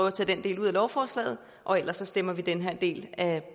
at tage den del ud af lovforslaget og ellers stemmer vi den her del af